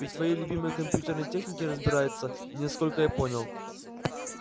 и в своей любимой компьютерной технике разбирается насколько я понял